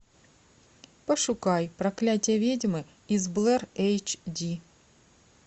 пошукай проклятие ведьмы из блэр эйч ди